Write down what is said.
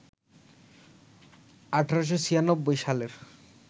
১৮৯৬ সালের